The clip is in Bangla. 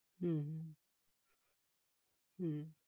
হম হম